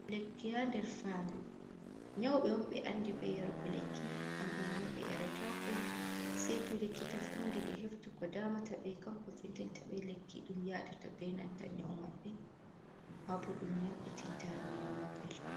Lekki ha nder fandu. nyawɓe won ɓe andi be yarugo lekki. Kambe manma ɓe yaratako sei to likita fundi ɓe heftu ko damataɓe. kanko vinɗintiin ta ɓe lekki. ɗum yaaɗata be nanta nyanwu maɓɓe. mabo ɗum yamɓitinta nyanwu maɓɓe.